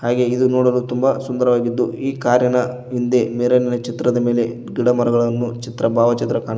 ಹಾಗೆ ಇದು ನೋಡಲು ತುಂಬ ಸುಂದರವಾಗಿದ್ದು ಈ ಕಾರಿನ ಮುಂದೆ ಮಿರರಿನ ಚಿತ್ರದ ಮೇಲೆ ಗಿಡ ಮರಗಳನ್ನು ಚಿತ್ರ ಭಾವ ಚಿತ್ರ ಕಾಣು--